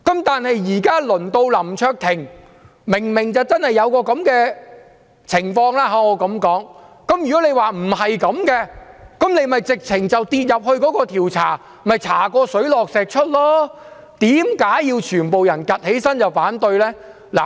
但是，現時輪到林卓廷議員，他明明真的有這樣的情況，如果他說不是這樣，便應該接受調查，查個水落石出，為何要全部人站起來反對呢？